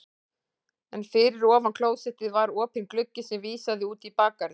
En fyrir ofan klósettið var opinn gluggi sem vísaði út í bakgarðinn.